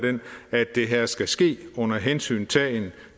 det her skal ske under hensyntagen